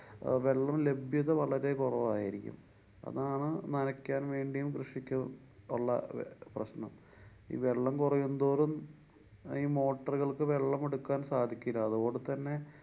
അഹ് വെള്ളം ലഭ്യത വളരെ കുറവായിരിക്കും. അതാണ്‌ നനക്കാന്‍ വേണ്ടിയും കൃഷിക്കൊള്ള പ്രശ്നം. ഈ വെള്ളം കൊറയുന്തോറും ഈ motor കള്‍ക്ക് വെള്ളം എടുക്കാന്‍ സാധിക്കില്ല. അതോടു തന്നെ